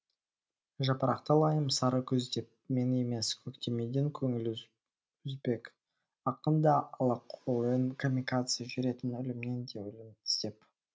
жапырақты лайым сары күз деп мен емес көктемеден көңіл үзбек ақын да алақұйын камикадзе жүретін өлімнен де өлім іздеп